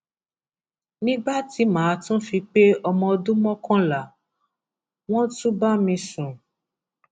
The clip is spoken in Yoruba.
nígbà tí mà á tún fi pé ọmọ ọdún mọkànlá wọn tún bá mi sùn